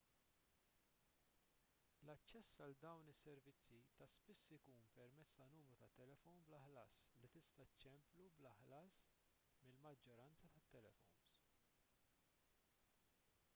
l-aċċess għal dawn is-servizzi ta' spiss ikun permezz ta' numru tat-telefon bla ħlas li tista' ċċemplu bla ħlas mill-maġġoranza tal-telefons